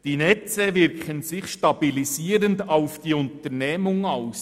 «Die Netze wirken sich stabilisierend auf die Unternehmung aus.